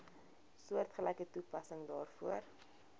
soortgelyke toepassing daarvoor